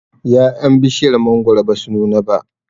ya'yan bishiyar mangwaro basu nuna ba